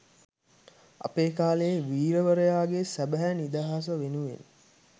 අපේ කාලයේ වීරවරයාගේ සැබෑ නිදහස වෙනුවෙන්